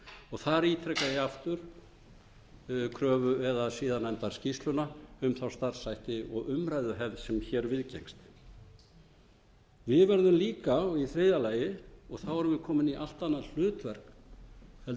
og þar ítreka ég aftur kröfu eða siðanefndarskýrsluna um starfshættina og umræðuhefð sem hér viðgengst við verðum líka og í þriðja lagi erum við komin í allt annað hlutverk heldur